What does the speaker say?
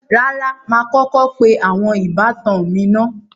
Rárá, mà á kọ́kọ́ pe àwọn ìbátan mi naá